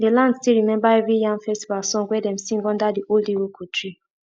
the land still remember every yam festival song wey dem sing under the old iroko tree